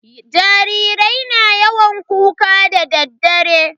Jarirai na yawan kuka dare.